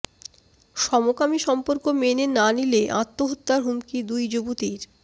সমকামী সম্পর্ক মেনে না নিলে আত্মহত্যার হুমকি দুই যুবতীর